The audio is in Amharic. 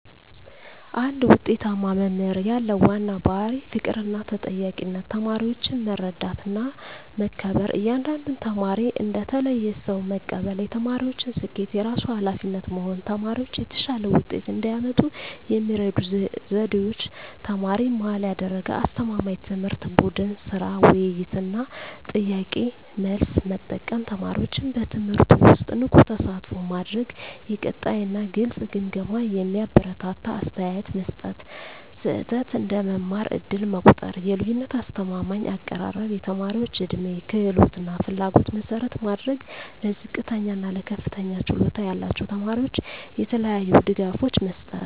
አንድ ውጤታማ መምህር ያለው ዋና ባሕርይ ፍቅርና ተጠያቂነት ተማሪዎችን መረዳትና መከበር እያንዳንዱን ተማሪ እንደ ተለየ ሰው መቀበል የተማሪዎችን ስኬት የራሱ ኃላፊነት መሆን ተማሪዎች የተሻለ ውጤት እንዲያመጡ የሚረዱ ዘዴዎች ተማሪ-መሃል ያደረገ አስተማማኝ ትምህርት ቡድን ሥራ፣ ውይይት እና ጥያቄ–መልስ መጠቀም ተማሪዎችን በትምህርቱ ውስጥ ንቁ ተሳትፎ ማድረግ የቀጣይ እና ግልጽ ግምገማ የሚያበረታታ አስተያየት መስጠት ስህተት እንደ መማር ዕድል መቆጠር የልዩነት አስተማማኝ አቀራረብ የተማሪዎች ዕድሜ፣ ክህሎት እና ፍላጎት መሠረት ማድረግ ለዝቅተኛ እና ለከፍተኛ ችሎታ ያላቸው ተማሪዎች የተለያዩ ድጋፎች መስጠት